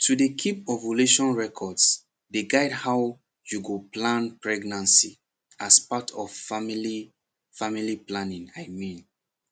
to dey keep ovulation records dey guide how you go plan pregnancy as part of family family planning i mean